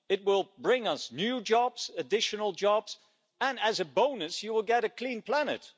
It will bring us new jobs, additional jobs, and, as a bonus, you will get a clean planet.